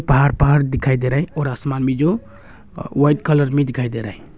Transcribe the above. बाहर पहाड़ दिखाई दे रहा है और आसमान भी जो वाइट कलर में दिखाई दे रहा है।